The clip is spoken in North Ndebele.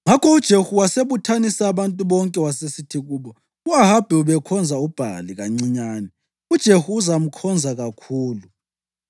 Ngakho uJehu wasebuthanisa abantu bonke wasesithi kubo, “U-Ahabi ubekhonza uBhali kancinyane; uJehu uzamkhonza kakhulu.